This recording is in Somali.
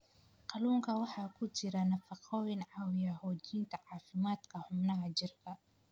Kalluunka waxaa ku jira nafaqooyin caawiya xoojinta caafimaadka xubnaha jirka.